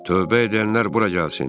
"Tövbə edənlər bura gəlsin!